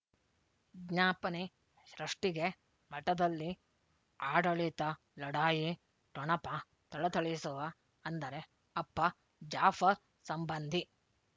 ವಿಜ್ಞಾಪನೆ ಸೃಷ್ಟಿಗೆ ಮಠದಲ್ಲಿ ಆಡಳಿತ ಲಢಾಯಿ ಠೊಣಪ ಥಳಥಳಿಸುವ ಅಂದರೆ ಅಪ್ಪ ಜಾಫರ್ ಸಂಬಂಧಿ